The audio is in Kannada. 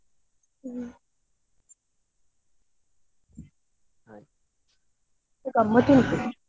ಹ್ಮ್ so ಗಮ್ಮತ್ ಉಂಟು.